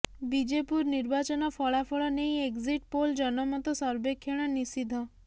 ବିଜେପୁର ନିର୍ବାଚନ ଫଳାଫଳ ନେଇ ଏକଜିଟ୍ ପୋଲ୍ ଜନମତ ସର୍ବେକ୍ଷଣ ନିଷିଦ୍ଧ